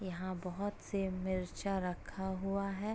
यहां बहुत से मिर्चा रखा हुआ है|